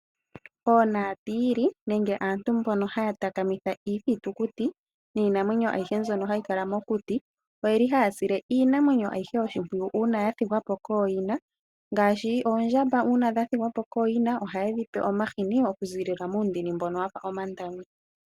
Oonaatiili nenge aantu mbono haya takamitha iithitukuti niinamwenyo ayihe mbyono hayikala mokuti. Oyeli haya sile iinamwenyo ayihe oshimpwiyu uuna ya thigwapo kooyina ngaashi oondjamb uuna dha thigwapo kooyina. Ohayedhi pe omahini oku ziilila muundini mbono wafa omandami.